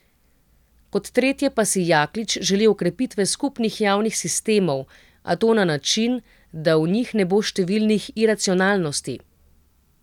Kot tretje pa si Jaklič želi okrepitev skupnih javnih sistemov, a to na način, da v njih ne bo številnih iracionalnosti.